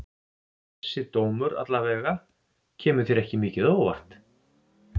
Þessi dómur alla vega kemur þér ekki mikið á óvart?